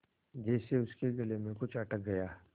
जैसे उसके गले में कुछ अटक गया